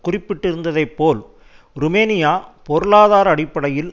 குறிப்பிட்டிருந்ததைப்போல் Romania பொருளாதார அடிப்படையில்